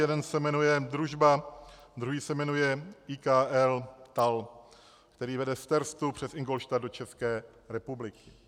Jeden se jmenuje Družba, druhý se jmenuje IKL TAL, který vede z Terstu přes Ingolstadt do České republiky.